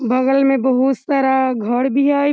बगल में बहुत सारा घर भी हेय।